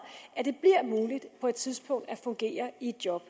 at det på et tidspunkt at fungere i et job